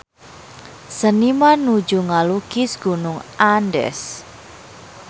Seniman nuju ngalukis Gunung Andes